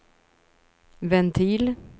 ventil